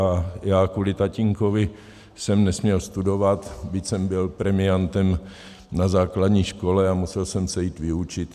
A já kvůli tatínkovi jsem nesměl studovat, byť jsem byl premiantem na základní škole, a musel jsem se jít vyučit.